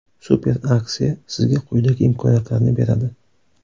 Super aksiya sizga quyidagi imkoniyat larni beradi.